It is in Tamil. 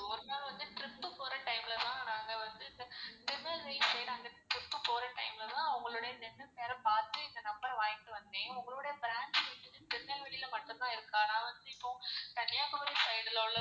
ஒரு நாள் வந்து trip போற time ல தான் நாங்க வந்து திருநெல்வேலி side அங்க trip போற time ல தான் உங்களோட dental care அ பாத்து number அ வாங்கிட்டு வந்தன். உங்களோட branch இருக்கறது திருநெல்வேலி ல மட்டும் தான் இருக்கா? இப்போ கன்னியாகுமாரி side ல.